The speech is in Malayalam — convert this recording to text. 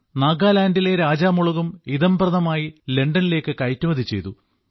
നാഗാലാൻഡിലെ രാജാ മുളകും ഇദംപ്രദമായി ലണ്ടനിലേക്ക് കയറ്റുമതി ചെയ്തു